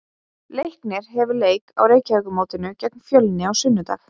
Leiknir hefur leik á Reykjavíkurmótinu gegn Fjölni á sunnudag.